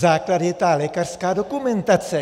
Základ je ta lékařská dokumentace.